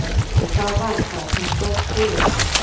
En hvað varð það sem skóp sigurinn?